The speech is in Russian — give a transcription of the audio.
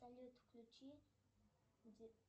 салют включи